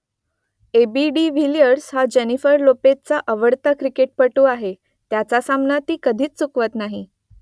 AB de Villiers हा Jennifer लोपेझचा आवडता क्रिकेटपटू आहे त्याचा सामना ती कधीच चुकवत नाही